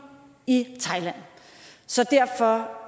i thailand så derfor